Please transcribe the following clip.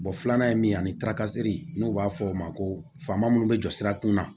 filanan ye min ye ani n'u b'a fɔ o ma ko faama minnu bɛ jɔ sira kunna